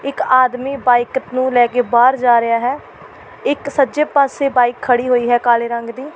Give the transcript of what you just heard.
ਇੱਕ ਆਦਮੀ ਬਾਈਕ ਨੂੰ ਲੈ ਕੇ ਬਾਹਰ ਜਾ ਰਿਹਾ ਹੈ ਇੱਕ ਸੱਜੇ ਪਾਸੇ ਬਾਈਕ ਖੜ੍ਹੀ ਹੋਈ ਹੈ ਕਾਲੇ ਰੰਗ ਦੀ।